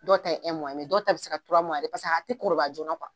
Dɔ ta ye dɔw ta bi se ka yɛrɛ paseke a ti kɔrɔbaya joona .